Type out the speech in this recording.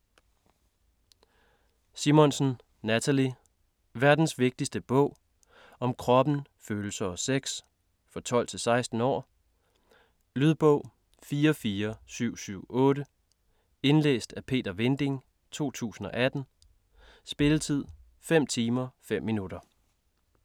Simonsson, Nathalie: Verdens vigtigste bog - om kroppen, følelser og sex. For 12-16 år. Lydbog 44778 Indlæst af Peter Vinding, 2018. Spilletid: 5 timer, 5 minutter.